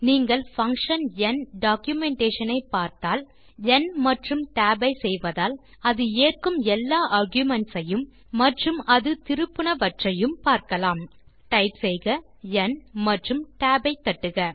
நீங்கள் பங்ஷன் ந் டாக்குமென்டேஷன் ஐ பார்த்தால் ந் tab ஐ செய்வதால் அது ஏற்கும் எல்லா ஆர்குமென்ட்ஸ் ஐயும் மற்றும் அது திருப்புவனவற்றையும் பார்க்கலாம்ltnowikigt டைப் செய்க ந் மற்றும் tab ஐ தட்டுக